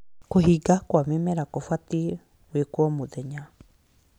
Kũhinga kwa mĩmera kũbatiĩ gwĩkwo mũthenya